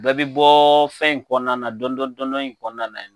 Bɛɛ bɛ bɔɔɔ fɛn in kɔnɔna na dɔndɔ- dɔndɔ in kɔnɔna na.